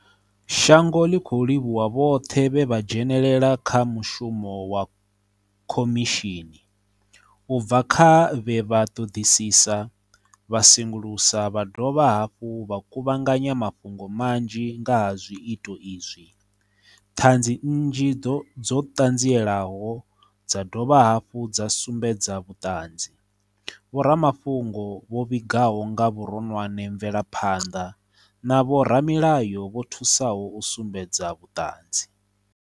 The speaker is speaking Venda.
Shango ḽi khou livhuwa vhoṱhe vhe vha dzhene lela kha mushumo wa kho mishini, u bva kha vhe vha ṱoḓisisa, vha sengulusa vha dovha hafhu vha kuvhanganya mafhungo manzhi nga ha zwiito izwi, ṱhanzi nnzhi dzo ṱanzielaho dza dovha hafhu dza sumbedza vhuṱanzi, vho ramafhungo vho vhigaho nga vhuronwane mvelaphanḓa, na vho ramilayo vho thusaho u sumbedza vhuṱanzi.